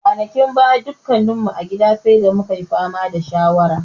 Kwanakin baya, dukkan mu a gida sai da mu ka yi fama da shawara.